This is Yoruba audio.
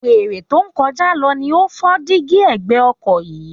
Wèrè tó ń kọjá lọ ni ó fọ́ díígí ẹ̀gbẹ́ ọkọ̀ yín